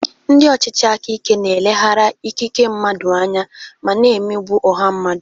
Ndị ọchịchị aka ike na-eleghara ikike mmadụ anya ma na-emegbu ọha mmadụ.